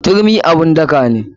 Turmi abun daka ne.